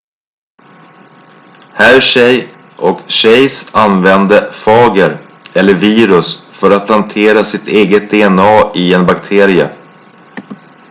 hershey och chase använde fager eller virus för att plantera sitt eget dna i en bakterie